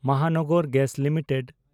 Mohanagar gas limited